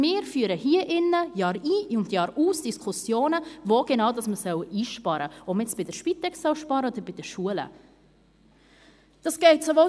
Wir führen hier drin jahrein, jahraus Diskussionen darüber, wo genau man einsparen solle, ob man bei der Spitex oder bei den Schulen sparen solle.